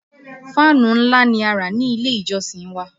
Fáànù ńlá ni a rà ní ilé - ìjọsìn wa